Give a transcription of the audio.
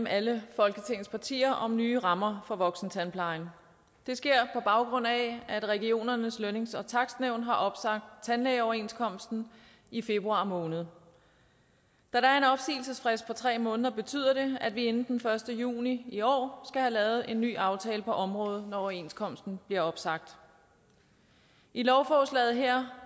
alle folketingets partier om nye rammer for voksentandplejen det sker på baggrund af at regionernes lønnings og takstnævn har opsagt tandlægeoverenskomsten i februar måned da der er en opsigelsesfrist på tre måneder betyder det at vi inden den første juni i år have lavet en ny aftale på området når overenskomsten bliver opsagt i lovforslaget her